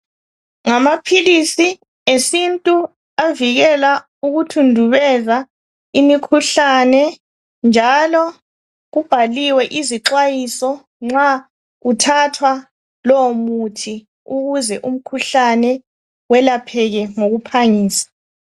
Ngamaphilisi esintu avikela ukuthundubeza imikhuhlane njalo kubhaliwe izixwayiso nxa kuthathwa lowo muthi ukuze umkhuhlane welapheke ngokuphangisa.